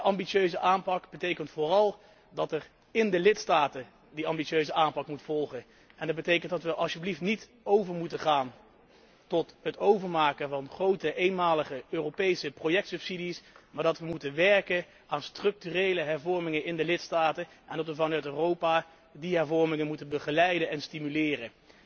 Een ambitieuze aanpak betekent vooral dat de lidstaten die ambitieuze aanpak moeten volgen. Dat houdt in dat wij niet over moeten gaan tot het overmaken van grote, eenmalige Europese projectsubsidies, maar dat wij moeten werken aan structurele hervormingen in de lidstaten en dat wij vanuit Europa die hervormingen moeten begeleiden en stimuleren.